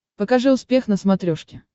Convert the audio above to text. покажи успех на смотрешке